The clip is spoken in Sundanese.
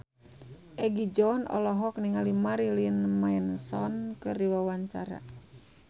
Egi John olohok ningali Marilyn Manson keur diwawancara